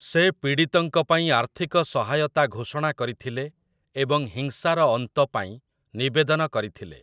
ସେ ପୀଡ଼ିତଙ୍କ ପାଇଁ ଆର୍ଥିକ ସହାୟତା ଘୋଷଣା କରିଥିଲେ ଏବଂ ହିଂସାର ଅନ୍ତ ପାଇଁ ନିବେଦନ କରିଥିଲେ ।